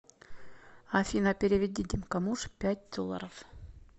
афина переведи димка муж пять долларов